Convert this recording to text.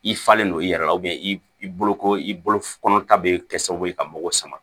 I falen no i yɛrɛ la i bolo ko i bolo kɔnɔ ta bɛ kɛ sababu ye ka mɔgɔ sama